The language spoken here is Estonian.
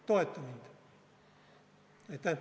Toeta mind!